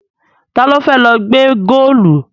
Ta ló fẹ́ lọ gbẹ́ góòlù?